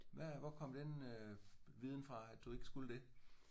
Hvad øh hvor kom den øh viden fra at du ikke skulle det?